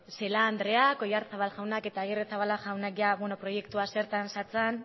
celaá andreak oyarzabal jaunak eta agirrezabala jaunak proiektua zertan zetzan